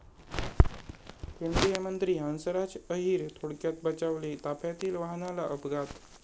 केंद्रीय मंत्री हंसराज अहिर थोडक्यात बचावले, ताफ्यातील वाहनाला अपघात